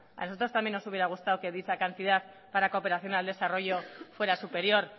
a nosotras también nos hubiera gustado que dicha cantidad para cooperación al desarrollo fuera superior